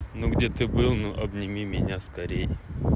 ну где ты был ну обними меня скорей